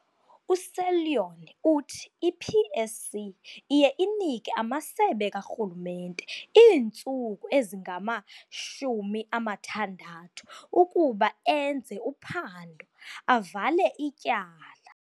USeloane uthi i-PSC iye inike amasebe karhulumente iintsuku ezingama-60 ukuba enze uphando, avale ityala.